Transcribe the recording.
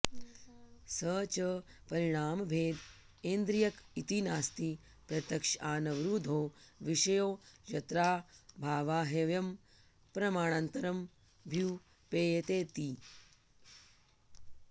स च परिणामभेद ऐन्द्रियक इति नास्ति प्रत्यक्षानवरुद्धो विषयो यत्राऽभावाह्वयं प्रमाणान्तरमभ्युपेयेतेति